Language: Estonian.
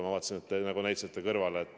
Ma vaatasin, et te nagu näitasite kõrvale.